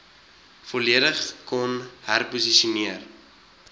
volledig kon herposisioneer